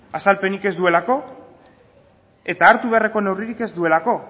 azalpenik ez duelako eta hartu beharreko neurririk ez duelako